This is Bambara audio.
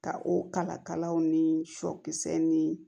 Ka o kalakalaw ni sɔkisɛ ni